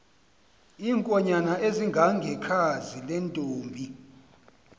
iinkonyan ezingangekhazi lentomb